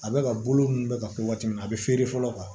A bɛ ka bolo ninnu bɛ ka kɛ waati min na a bɛ feere fɔlɔ